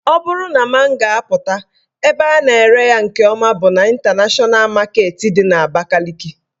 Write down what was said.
Ọ bụrụ na mango apụta, ebe a na-ere ya nke ọma bụ n' Ịntanashọna Maketi dị n'Abakaliki